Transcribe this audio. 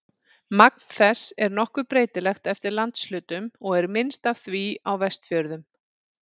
Magn þess er nokkuð breytilegt eftir landshlutum og er minnst af því á Vestfjörðum.